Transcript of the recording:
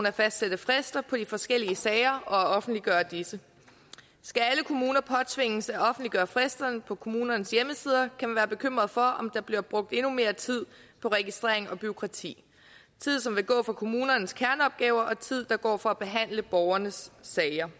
at fastsætte frister på de forskellige sager og offentliggøre disse skal alle kommuner påtvinges at offentliggøre fristerne på kommunernes hjemmesider kan man være bekymret for om der bliver brugt endnu mere tid på registrering og bureaukrati tid som vil gå fra kommunernes kerneopgaver og tid der går fra at behandle borgernes sager